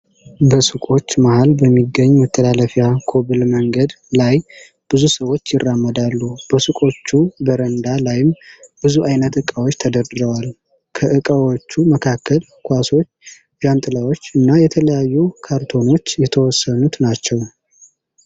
በሱቆች መሃል በሚገኝ መተላለፊያ ኮብል መንገድ ላይ ብዙ ሰዎች ይራመዳሉ። በሱቆቹ በረንዳ ላይም ብዙ አይነት እቃዎች ተደርድረዋል። ከእቃዎቹ መካከልም ኳሶች፣ ዣንጥላዎች እና የተለያዩ ካርቶኖች የተወሰኑት ናቸው።